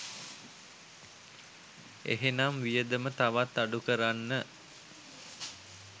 එහෙනම් වියදම තවත් අඩු කරන්න